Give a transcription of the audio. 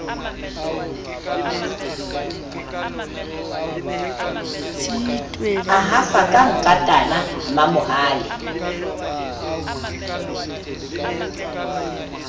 a hafa ka nkatana mamohale